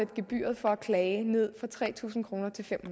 gebyret for at klage ned fra tre tusind kroner til fem